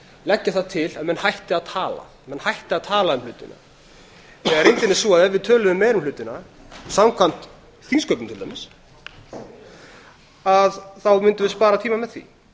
leggja það til að menn hætti að tala menn hætti að tala um hlutina þegar er svo að ef við tölum meira um hlutina samkvæmt þingsköpum til dæmis þá mundum við spara tíma með því